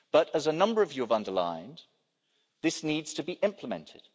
But as a number of you have underlined, this needs to be implemented.